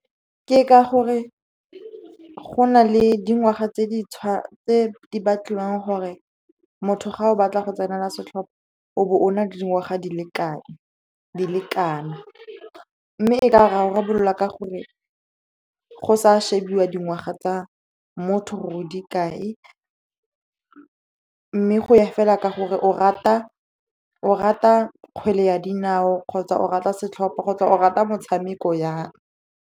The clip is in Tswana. Ke ka gore go na le dingwaga tse di batliwang gore motho ga o batla go tsenela setlhopha, o bo o na le dingwaga di le kana. Mme e ka rarabololwa ka gore go sa shebiwa dingwaga tsa motho, gore o dikae, mme go ya fela ka gore o rata kgwele ya dinao, kgotsa o rata setlhopha, kgotsa o rata motshameko yang.